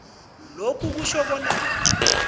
lokhu akutjho bona